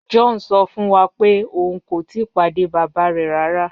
John sọ fun wa pe oun ko tii pade baba rẹ rara.